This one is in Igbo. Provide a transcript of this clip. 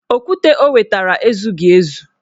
Okwute o wetara ezughị ezu